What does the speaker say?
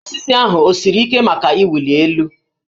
Osisi ahụ o siri ike maka ịwụli elu?